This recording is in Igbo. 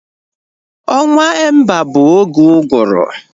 Ọnwa Emba bụ oge uguru